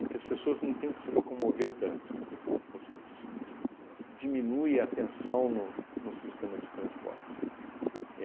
que as pessoas não tenham que se locomover tanto, você dis di diminui a tensão no no sistema de transporte.